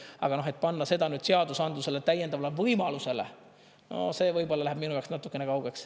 Aga et panna seda seadusandluse täiendavale võimalusele, see võib-olla läheb minu jaoks natukene kaugeks.